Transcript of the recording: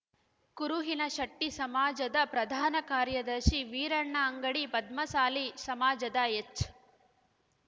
ಕುರುಹಿನ ಶಟ್ಟಿಸಮಾಜದ ಪ್ರಧಾನ ಕಾರ್ಯದರ್ಶಿ ವೀರಣ್ಣ ಅಂಗಡಿ ಪದ್ಮಸಾಲಿ ಸಮಾಜದ ಎಚ್‌